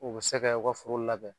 U be kɛ u ka foro labɛn